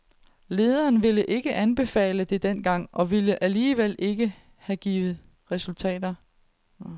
Lederne ville ikke anbefale det dengang, og det ville alligevel ikke have givet resultater.